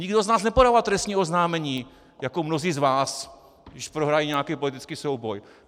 Nikdo z nás nepodává trestní oznámení jako mnozí z vás, když prohrají nějaký politický souboj.